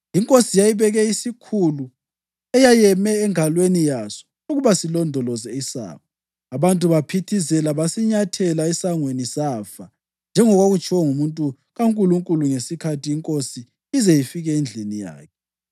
Inkosi yayibeke isikhulu eyayeyeme engalweni yaso ukuba silondoloze isango. Abantu baphithizela basinyathela esangweni, safa, njengokwakutshiwo ngumuntu kaNkulunkulu ngesikhathi inkosi ize ifike endlini yakhe.